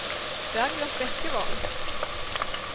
Bergljot Bekkevold